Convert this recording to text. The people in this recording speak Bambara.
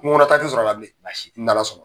Kungo kɔnɔ taa ti sɔr'a la bilen, a n' Ala sɔnna.